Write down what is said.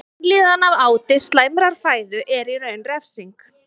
Vanlíðan af áti slæmrar fæðu er í raun refsing.